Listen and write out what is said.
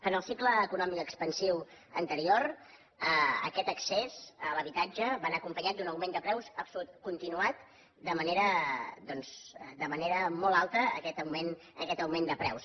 en el cicle econòmic expansiu anterior aquest accés a l’habitatge va anar acompanyat d’un augment de preus continuat de manera doncs molt alta aquest augment de preus